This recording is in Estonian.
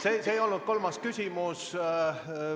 See ei olnud kolmas küsimus.